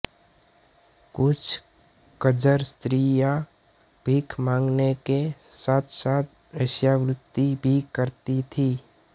कुछ कंजर स्त्रियाँ भीख माँगने के साथसाथ वेश्यावृत्ति भी करती थीं